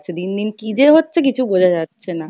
দিন দিন কী যে হচ্ছে কিছু বোঝা যাচ্ছে না।